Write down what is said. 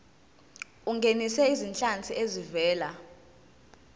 ungenise izinhlanzi ezivela